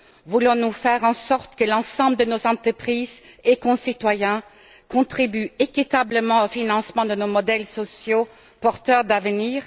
Voulons nous faire en sorte que l'ensemble de nos entreprises et de nos concitoyens contribuent équitablement au financement de nos modèles sociaux porteurs d'avenir?